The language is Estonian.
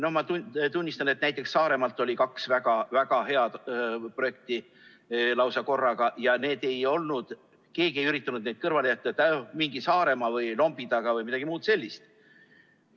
Ma tunnistan, et näiteks Saaremaalt oli lausa kaks väga head projekti korraga ja keegi ei üritanud neid kõrvale jätta sellepärast, et ah, mingi Saaremaa või lombi taga vms.